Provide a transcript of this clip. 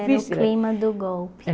Era o clima do golpe.